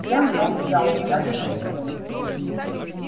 я молчал глядя на неё